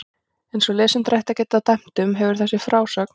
Eins og lesendur ættu að geta dæmt um, hefur þessi frásögn